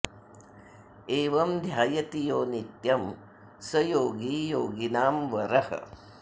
एवम् ध्यायति यो नित्यम् स योगी योगिनाम् वरः